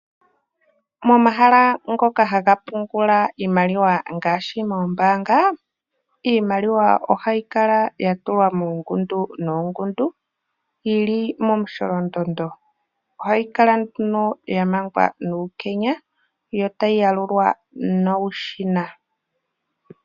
Momahala ngoka haga pungula iimaliwa ngaashi moombaanga, iimaliwa ohayi kala yatulwa muungundu nuungundu, yili momusholondondo. Ohayi kala ya mangwa nuukenya, yo tayi yalulwa nuushina.